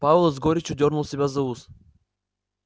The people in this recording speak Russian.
пауэлл с горечью дёрнул себя за ус